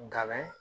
Nkalon